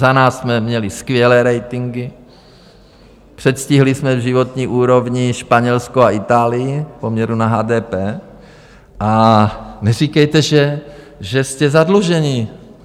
Za nás jsme měli skvělé ratingy, předstihli jsme v životní úrovni Španělsko a Itálii v poměru na HDP, a neříkejte, že jste zadlužení.